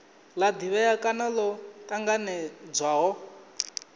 la divhea kana lo tanganedzwaho